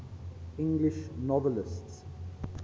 english novelists